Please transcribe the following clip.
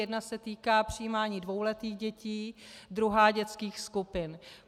Jedna se týká přijímání dvouletých dětí, druhá dětských skupin.